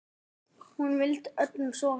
Hún vildi öllum svo vel.